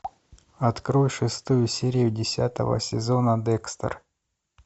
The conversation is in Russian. открой шестую серию десятого сезона декстер